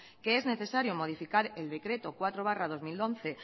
que es necesario modificar el decreto cuatro barra dos mil once